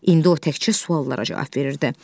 İndi o təkcə suallara cavab verirdi.